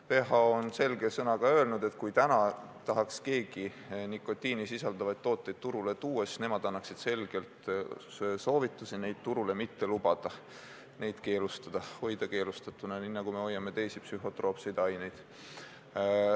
WHO on selge sõnaga öelnud, et kui praegu tahaks keegi nikotiini sisaldavaid tooteid turule tuua, siis nemad annaksid selge soovituse neid turule mitte lubada ja need keelustada, nii nagu me hoiame keelu all teisi psühhotroopseid aineid.